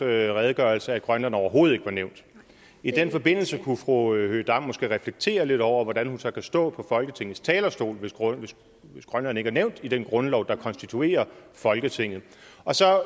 redegørelse at grønland overhovedet ikke var nævnt i den forbindelse kunne fru høegh dam måske reflektere lidt over hvordan hun så kan stå på folketingets talerstol hvis grønland ikke er nævnt i den grundlov der konstituerer folketinget og så